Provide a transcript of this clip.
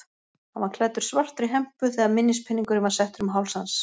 Hann var klæddur svartri hempu þegar minnispeningurinn var settur um háls hans.